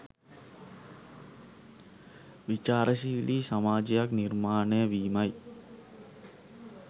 විචාරශීලි සමාජයක් නිර්මාණය වීමයි.